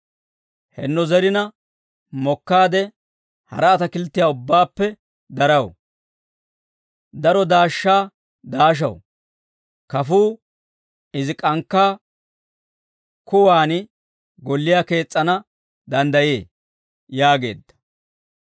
henno zerina mokkaade hara atakilttiyaa ubbaappe daraw; daro daashshaa daashaw. Kafuu izi k'ankkaa kuwaan golliyaa kees's'ana danddayee» yaageedda.